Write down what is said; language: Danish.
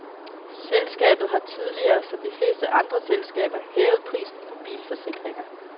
Selskabethar tidligere, som de fleste andre selskaber, hævet prisen på bilforsikringer.